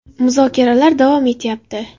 Muzokaralar davom etyapti.